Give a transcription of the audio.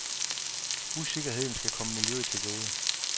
Usikkerheden skal komme miljøet til gode.